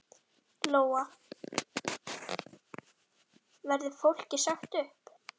Lóa: Verður fólki sagt upp?